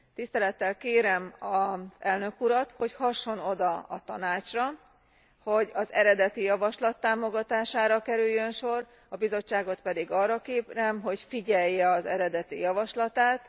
Tisztelettel kérem az elnök urat, hogy hasson oda a Tanácsra, hogy az eredeti javaslat támogatására kerüljön sor, a Bizottságot pedig arra kérem, hogy figyelje az eredeti javaslatát.